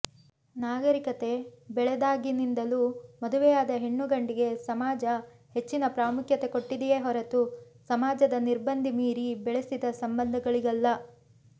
ನಾಗರೀಕತೆ ಬೆಳೆದಾಗಿನಿಂದಲೂ ಮದುವೆಯಾದ ಹೆಣ್ಣು ಗಂಡಿಗೆ ಸಮಾಜ ಹೆಚ್ಚಿನ ಪ್ರಾಮುಖ್ಯತೆ ಕೊಟ್ಟಿದೆಯೇ ಹೊರತು ಸಮಾಜದ ನಿರ್ಬಂಧ ಮೀರಿ ಬೆಳೆಸಿದ ಸಂಬಂಧಗಳಿಗಲ್ಲ